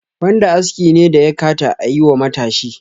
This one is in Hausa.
Wanda aski ne da yakata ayi wa matashi?